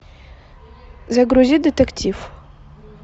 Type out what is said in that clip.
загрузи детектив